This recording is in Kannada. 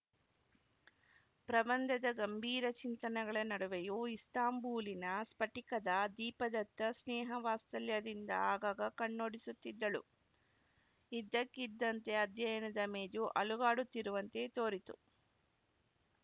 ಪ್ರಬಂಧದ ಗಂಭೀರ ಚಿಂತನೆಗಳ ನಡುವೆಯೂ ಇಸ್ತಾಂಬೂಲಿನ ಸ್ಫಟಿಕದ ದೀಪದತ್ತ ಸ್ನೇಹ ವಾತ್ಸಲ್ಯದಿಂದ ಆಗಾಗ ಕಣ್ಣೋಡಿಸುತ್ತಿದ್ದಳು ಇದ್ದಕ್ಕಿದ್ದಂತೆ ಅಧ್ಯಯನದ ಮೇಜು ಅಲುಗಾಡುತ್ತಿರುವಂತೆ ತೋರಿತು